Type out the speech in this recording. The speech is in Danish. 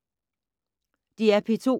DR P2